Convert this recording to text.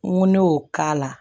N ko ne y'o k'a la